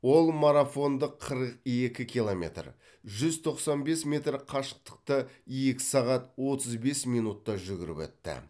ол марафондық қырық екі километр жүз тоқсан бес метр қашықтықты екі сағат отыз бес минутта жүгіріп өтті